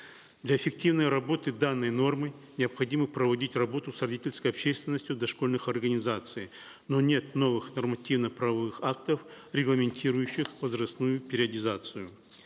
для эффективной работы данной нормы необходимо проводить работу с родительской общественностью дошкольных организаций но нет новых нормативно правовых актов регламентирующих возрастную периодизацию